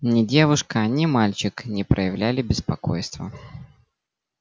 ни девушка ни мальчик не проявляли беспокойства